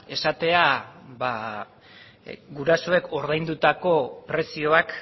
esatea gurasoek ordaindutako prezioak